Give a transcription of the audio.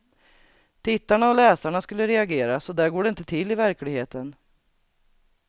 Tittarna och läsarna skulle reagera, så där går det inte till i verkligheten.